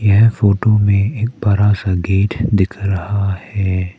यह फोटो में एक बड़ा सा गेट दिख रहा है।